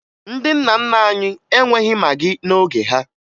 Ndị nna nna anyị enweghi magị n'oge ha